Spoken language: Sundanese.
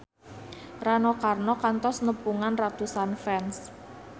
Rano Karno kantos nepungan ratusan fans